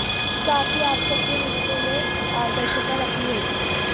साथ ही आपको अपने रिश्ते में पारदर्शिता रखनी होगी